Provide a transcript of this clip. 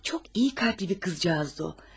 Çox yaxşı qəlbli bir qızcıq idi o.